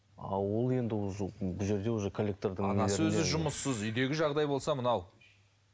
а ол енді бұл жерде уже коллектордың анасы өзі жұмыссыз үйдегі жағдай болса мынау